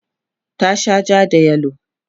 tana Shan jaa da yellow